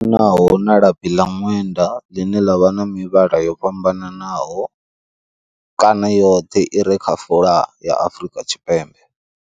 Naho na labi ḽa ṅwenda ḽine ḽa vha na mivhala yo fhambananaho, kana yoṱhe i re kha folaga ya Afrika Tshipembe.